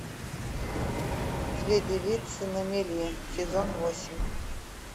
две девицы на мели сезон восемь